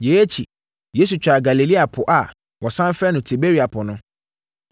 Yei akyi, Yesu twaa Galilea Po a wɔsane frɛ no Tiberia Po no.